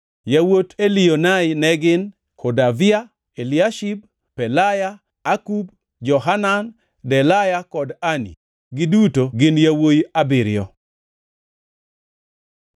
Yawuot Elioenai ne gin: Hodavia, Eliashib, Pelaya, Akub, Johanan, Delaya kod Anani, giduto gin yawuowi abiriyo.